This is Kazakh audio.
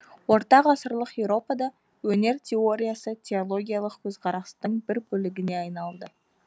ортағасырлық еуропада өнер теориясы теологиялық көзқарастың бір бөлігіне айналды